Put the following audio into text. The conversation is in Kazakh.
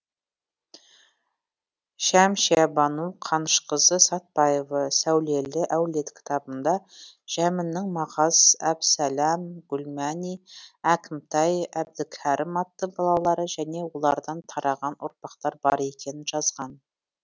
шәмшиябану қанышқызы сәтбаева сәулелі әулет кітабында жәміннің мағаз әбсәлэм гүлмәни әкімтай әбдікәрім атты балалары және олардан тараған ұрпақтар бар екенін жазған